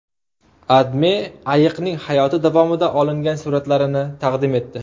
AdMe ayiqning hayoti davomida olingan suratlarini taqdim etdi .